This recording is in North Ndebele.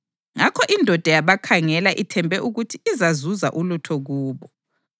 Ngakho indoda yabakhangela, ithembe ukuthi izazuza ulutho kubo.